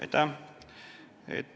Aitäh!